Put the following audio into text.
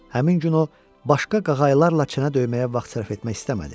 Həmin gün o başqa qağaylarla çənə döyməyə vaxt sərf etmək istəmədi.